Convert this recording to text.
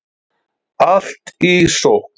Allt í sókn